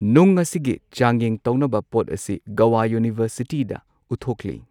ꯅꯨꯡ ꯑꯁꯤꯒꯤ ꯆꯥꯡꯌꯦꯡ ꯇꯧꯅꯕ ꯄꯣꯠ ꯑꯁꯤ ꯒꯣꯋꯥ ꯌꯨꯅꯤꯚꯔꯁꯤꯇꯤꯗ ꯎꯠꯊꯣꯛꯂꯤ꯫